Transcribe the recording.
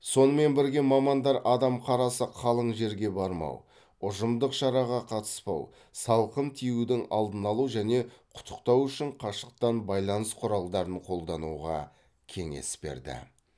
сонымен бірге мамандар адам қарасы қалың жерге бармау ұжымдық шараға қатыспау салқын тиюдің алдын алу және құттықтау үшін қашықтан байланыс құралдарын қолдануға кеңес берді